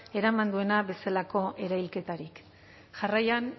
eraman duena bezalako erailketarik jarraian